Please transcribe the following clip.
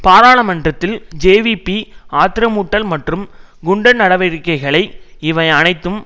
பாராளுமன்றத்தில் ஜேவிபி ஆத்திரமூட்டல் மற்றும் குண்டர் நடவடிக்கைகளை இவை அனைத்தும்